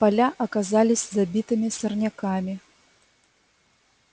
поля оказались забитыми сорняками